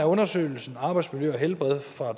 undersøgelsen arbejdsmiljø og helbred fra